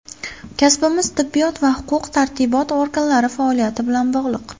Kasbimiz tibbiyot va huquq tartibot organlari faoliyati bilan bog‘liq.